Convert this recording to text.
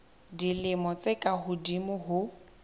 dilemo tse ka hodimo ho